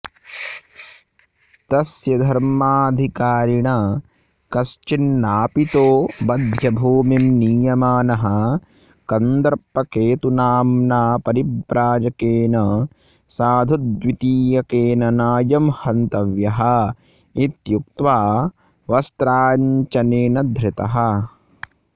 तस्य धर्माधिकारिणा कश्चिन्नापितो वध्यभूमिं नीयमानः कन्दर्पकेतुनाम्ना परिव्राजकेन साधुद्वितीयकेन नायं हन्तव्यः इत्युक्त्वा वस्त्राञ्चलेन धृतः